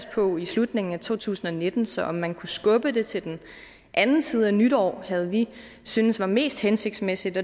på slutningen i to tusind og nitten så om man kunne skubbe det til den anden side af nytår havde vi syntes var mest hensigtsmæssigt